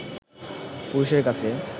পুরুষের কাছে